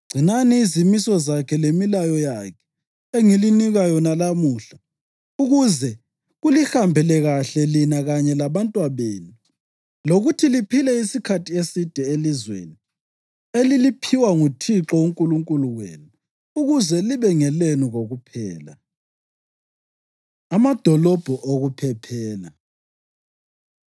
Gcinani izimiso zakhe lemilayo yakhe, engilinika yona lamuhla, ukuze kulihambele kahle lina kanye labantwabenu lokuthi liphile isikhathi eside elizweni eliliphiwa nguThixo uNkulunkulu wenu ukuze libe ngelenu kokuphela.” Amadolobho Okuphephela